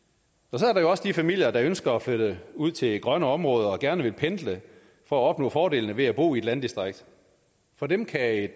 så er der jo også de familier der ønsker at flytte ud til grønne områder og gerne vil pendle for at opnå fordelene ved at bo i et landdistrikt for dem kan